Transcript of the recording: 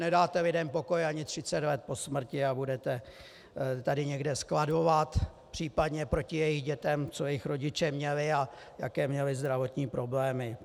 Nedáte lidem pokoj ani 30 let po smrti a budete tady někde skladovat případně proti jejich dětem, co jejich rodiče měli a jaké měli zdravotní problémy.